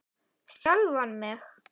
Sjálfan mig?